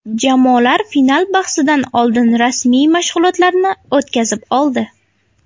Jamoalar final bahsidan oldin rasmiy mashg‘ulotlarni o‘tkazib oldi.